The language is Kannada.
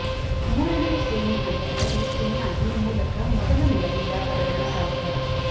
ಮೂರನೇಯ ಶ್ರೇಣಿ ಹಂತಗಳಲ್ಲಿ ಚೆನ್ನಾಗಿ ಮೂಲಕ ಮೊದಲ ನೆಲದಿಂದ ಪಡೆಯಲು ಸಾಧ್ಯ